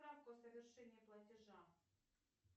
справку о совершении платежа